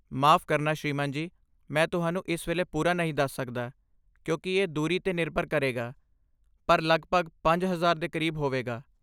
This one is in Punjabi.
ਮਾਫ਼ ਕਰਨਾ ਸ੍ਰੀਮਾਨ ਜੀ, ਮੈਂ ਤੁਹਾਨੂੰ ਇਸ ਵੇਲੇ ਪੂਰਾ ਨਹੀਂ ਦੱਸ ਸਕਦਾ ਕਿਉਂਕਿ ਇਹ ਦੂਰੀ 'ਤੇ ਨਿਰਭਰ ਕਰੇਗਾ, ਪਰ ਲੱਗਭਗ ਪੰਜ ਹਜ਼ਾਰ ਦੇ ਕਰੀਬ ਹੋਵੇਗਾ